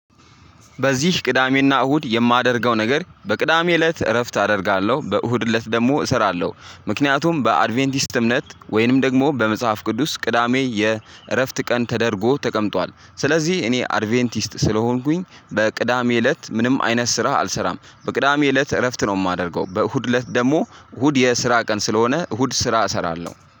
በዚህ ቅዳሜና እሁድ የማደርገው ነገር በቅዳሜ እለት እረፍት አደርጋለሁ በእሁድ እለት ደግሞ እሰራለሁ። ምክንያቱም በአድቬንቲስት እምነት ወይንም ደግሞ በመጽሐፍ ቅዱስ ቅዳሜ የእረፍት ቀን ተደርጎ ተቀምጧል። ስለዚህ እኔ አድቬንቲስት ስለሆንኩኝ በቅዳሜ እለት ምንም አይነት ስራ አልሰራም በቅዳሜ እለት እረፍት ነው የማደርገው። በእሁድ እለት ደግሞ እሁድ የስራ ቀን ስለሆነ እሁድ ስራ እሰራለሁ